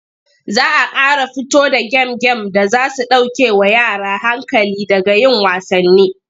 Za a ƙara fito da gem-gem da za su ɗaukewa yara hankali daga yin wasanni.